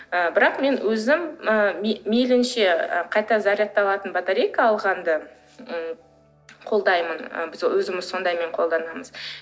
ы бірақ мен өзім ы мейілінше қайта зарядталатын батарейка алғанды м қолдаймын біз ы өзіміз сондаймен қолданамыз